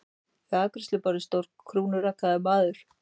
Við afgreiðsluborðið stóð krúnurakaður maður.